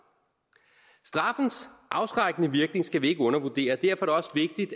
straffens afskrækkende virkning skal vi ikke undervurdere derfor